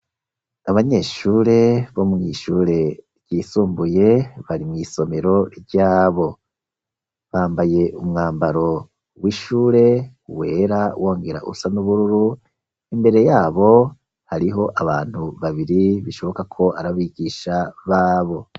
Abanyeshure bo mw'ishure ryisumbuye. bari mw'isomero ryabo. Bambaye umwambaro w'ishure wera wongera usa n'ubururu, imbere yabo hariho abantu babiri bishoboka ko ari abigisha babo.